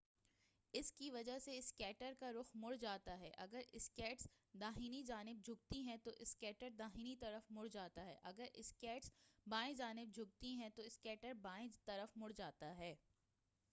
اسکی وجہ سے اسکیٹر کا رخ مڑ جاتا ہے اگر اسکیٹس داہنی جانب جھکتی ہیں تو اسکیٹر داہنی طرف مڑ جاتا ہے اگر اسکیٹس بائیں جانب جھکتی ہیں تو اسکیٹر بائیں طرف مڑ جاتا ہے